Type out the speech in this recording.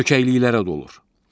Çökəklikəklərə dolur.